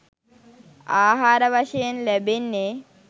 ආහාර වශයෙන් ලැබෙන්නේ